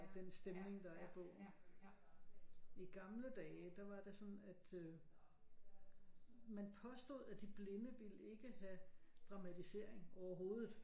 Den stemning der er i bogen i gamle dage der var det sådan at man påstod at de blinde ville ikke have dramatisering overhovedet